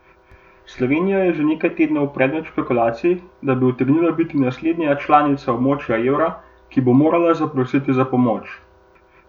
Slovenija je že nekaj tednov predmet špekulacij, da bi utegnila biti naslednja članica območja evra, ki bo morala zaprositi za pomoč.